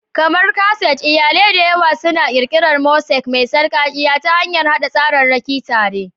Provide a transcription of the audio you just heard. Kamar kaset, iyalai da yawa suna ƙirƙirar mosaic mai sarƙaƙƙiya ta hanyar haɗa tsararraki tare.